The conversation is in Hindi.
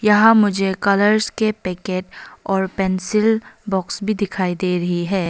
यहां मुझे कलर के पैकेट और पेंसिल बॉक्स भी दिखाई दे रही है।